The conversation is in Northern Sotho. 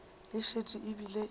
e šetše e bile e